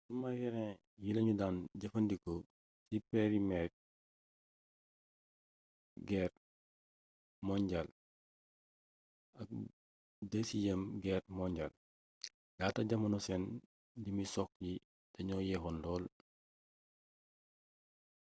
sumarin yi lañu daan jëfandikoo ci përmiyeer geer monjaal ak dësiyeem geer monjaal laata jamono seen limi sox yi dañoo yeexoon lool